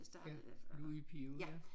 ja Louis Pio ja